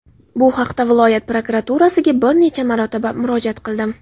Bu haqda viloyat prokuraturasida bir necha marotaba murojaat qildim.